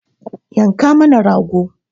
Yanka mana rago!